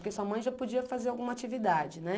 Porque sua mãe já podia fazer alguma atividade, né?